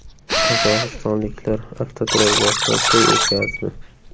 Qozog‘istonliklar avtoturargohda to‘y o‘tkazdi .